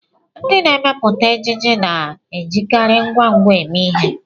Ndị na-emepụta ejiji na-ejikarị ngwa ngwa eme ihe